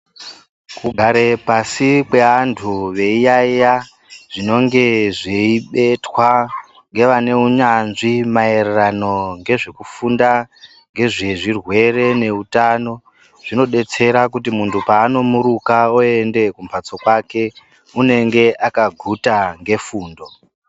Kugara pashi kwevantu veiiyaiya zvinenge zveibetwa ngevaneinnyanzvi maerersno ngezvekufunda ngezvezvirwere neutano zvinodetsera kuti muntu paanmomuruka oenda kumhatso kwake unenge akaguta ngefumdo